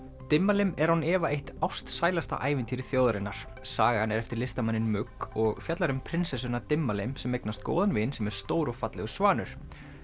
Dimmalimm er án efa eitt ástsælasta ævintýri þjóðarinnar sagan er eftir listamanninn og fjallar um prinsessuna Dimmalimm sem eignast góðan vin sem er stór og fallegur svanur